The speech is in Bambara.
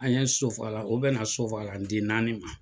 An ye sosofagalan o bɛnna sosofagalan den naani ma.